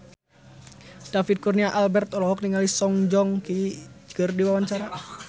David Kurnia Albert olohok ningali Song Joong Ki keur diwawancara